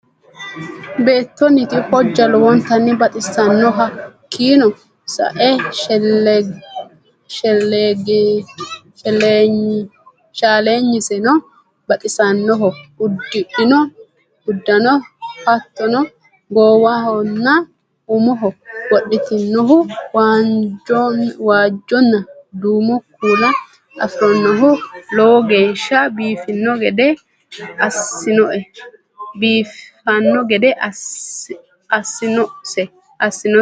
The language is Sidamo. beetonnonti hojja lowontanni baxisanno hakinno sa'e shaalignisenno baxisannoho udidhinno udanno hatonno goowahonna umoho wodhitinohu waajonna duumo kuula afirinohu lowogeesha biifanno gadde asinnose.